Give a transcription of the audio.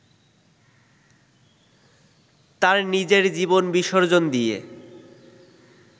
তার নিজের জীবন বিসর্জন দিয়ে